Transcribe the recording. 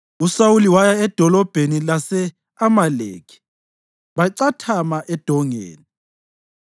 USawuli waya edolobheni lase-Amaleki bacathama edongeni.